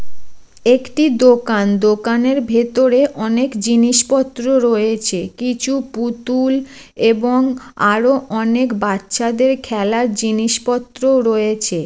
একটি দোকান দোকানের ভেতরে অনেক জিনিসপত্র রয়েছে কিছু পুতুল এবং আরো অনেক বাচ্চাদের খেলার জিনিসপত্রও রয়েছে।